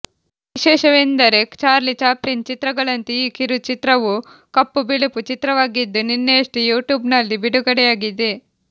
ವಿಶೇಷವೆಂದರೆ Charlie Chaplin ಚಿತ್ರಗಳಂತೆ ಈ ಕಿರು ಚಿತ್ರವೂ ಕಪ್ಪು ಬಿಳುಪು ಚಿತ್ರವಾಗಿದ್ದು ನಿನ್ನೆಯಷ್ಟೇ ಯುಟ್ಯೂಬ್ ನಲ್ಲಿ ಬಿಡುಗಡೆಯಾಗಿದೆ